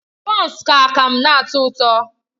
Bọns na akamu na-atọ ụtọ.